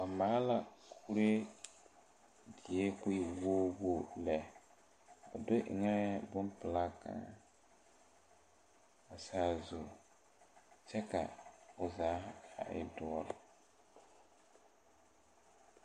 Ba maale la kuree die ka o e wogi wogi lɛ o do eŋɛɛ bompelaa kaŋa a sazu kyɛ ka o zaa a e doɔre.